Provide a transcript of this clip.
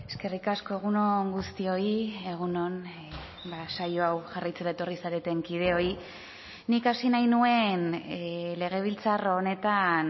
eskerrik asko egun on guztioi egun on saio hau jarraitzera etorri zareten kideoi nik hasi nahi nuen legebiltzar honetan